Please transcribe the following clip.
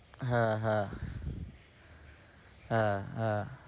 হ্যাঁ, হ্যাঁ হ্যাঁ, হ্যাঁ